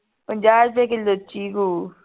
ਪੰਜਾਹ ਰੁਪਏ ਕਿੱਲੋ ਚੀਕੂ